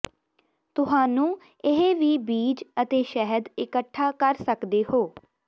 ਤੁਹਾਨੂੰ ਇਹ ਵੀ ਬੀਜ ਅਤੇ ਸ਼ਹਿਦ ਇਕੱਠਾ ਕਰ ਸਕਦੇ ਹੋ